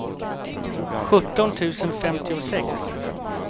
sjutton tusen femtiosex